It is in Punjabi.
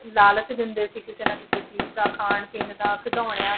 ਲਾਲਚ ਦਿੰਦੇ ਸੀ ਕਿਸੇ ਨਾ ਕਿਸੇ ਚੀਜ਼ ਦਾ ਖਾਣ ਪੀਣ ਦਾ ਖਿਡੌਣਿਆਂ